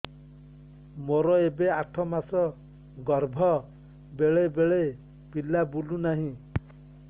ମୋର ଏବେ ଆଠ ମାସ ଗର୍ଭ ବେଳେ ବେଳେ ପିଲା ବୁଲୁ ନାହିଁ